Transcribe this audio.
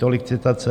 Tolik citace.